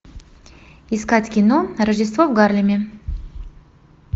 искать кино рождество в гарлеме